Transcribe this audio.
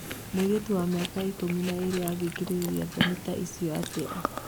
Mũirĩtu wa miaka ikũmi na ĩrĩ angekirĩrĩria thoni ta icio atia?